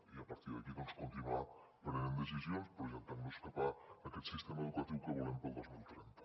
i a partir d’aquí continuar prenent decisions projectant nos cap a aquest sistema educatiu que volem per al dos mil trenta